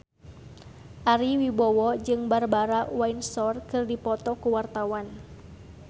Ari Wibowo jeung Barbara Windsor keur dipoto ku wartawan